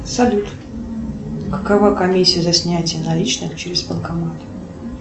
салют какова комиссия за снятие наличных через банкомат